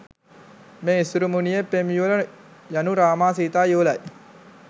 මේ ඉසුරුමුණියේ පෙම් යුවල යනු රාමා සීතා යුවලයි.